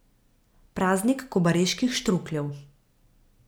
Praznik kobariških štrukljev.